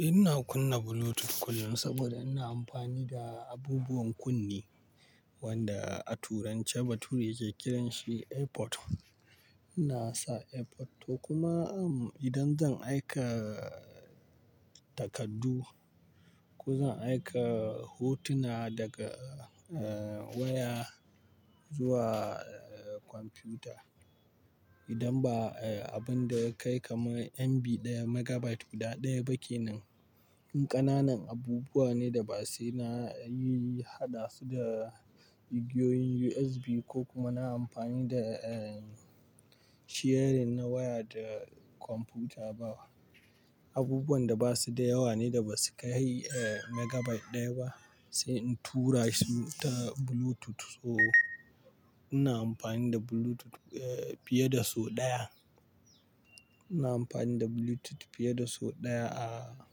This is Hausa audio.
Eh ina kunna Bluetooth kullum saboda ina amfani da abubuwan kunne wanda a turanci bature ke kiran shi AirPod. Ina sa AirPod to kuma idan zan aika takardu ko zan aika hotuna daga, eh, waya zuwa, eh, kwamfuta. Idan ba, eh, abun da kai kamar MB ɗaya megabyte guda ɗaya ba ke nan, ƙananan abubuwa ne da ba sai na yi hana su da igiyoyin USB ko kuma na amfani da, eh, sharing na waya da kwamfuta ba. Abubuwan da ba su da yawa ne da ba su kai, eh, megabyte ɗaya ba sai in tura su ta Bluetooth. So ina amfani da Bluetooth, eh, fiye da sau ɗaya. Ina amfani da Bluetooth fiye da sau ɗaya a,